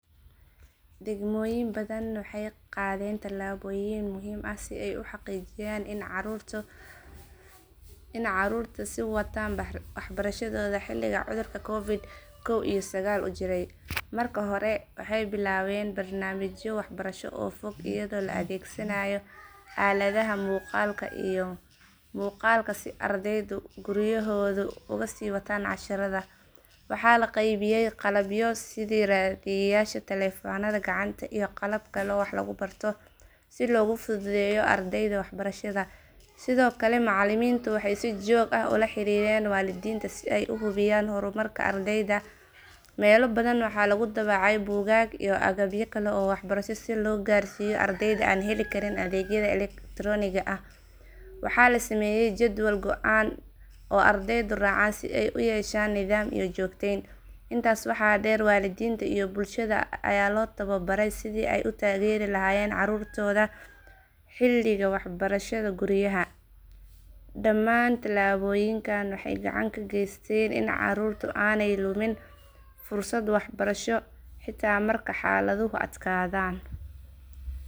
Degmooyin badan waxay qaadeen talaabooyin muhiim ah si ay u xaqiijiyaan in carruurtu sii wataan waxbarashadooda xilligii cudurka covid kow iyo sagaal uu jiray. Marka hore waxay bilaabeen barnaamijyo waxbarasho oo fog iyadoo la adeegsanayo aaladaha maqalka iyo muuqaalka si ardaydu guryahooda uga sii wataan casharada. Waxaa la qaybiyay qalabyo sida raadiyeyaasha taleefannada gacanta iyo qalabka wax lagu barto si loogu fududeeyo ardayda waxbarashada. Sidoo kale macallimiintu waxay si joogto ah ula xiriireen waalidiinta si ay u hubiyaan horumarka ardayda. Meelo badan waxaa lagu daabacay buugaag iyo agabyo kale oo waxbarasho si loo gaarsiiyo ardayda aan heli karin adeegyada elektarooniga ah. Waxaa la sameeyay jadwal go'an oo ardaydu raacaan si ay u yeeshaan nidaam iyo joogteyn. Intaa waxaa dheer waalidiinta iyo bulshada ayaa loo tababaray sidii ay u taageeri lahaayeen carruurtooda xilliga waxbarashada guryaha. Dhammaan talaabooyinkan waxay gacan ka geysteen in carruurtu aanay lumin fursadda waxbarasho xitaa marka xaaladuhu adkaadaan.